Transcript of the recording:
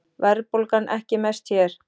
Verðbólgan ekki mest hér